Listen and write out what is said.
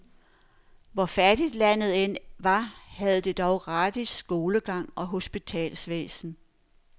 Hvor fattigt landet end var, havde det dog gratis skolegang og hospitalsvæsen.